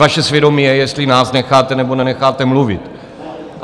Vaše svědomí je, jestli nás necháte nebo nenecháte mluvit.